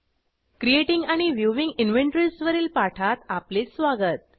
creating आणि viewing inventories वरील पाठात आपले स्वागत